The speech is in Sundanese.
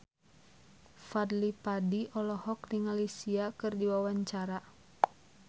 Fadly Padi olohok ningali Sia keur diwawancara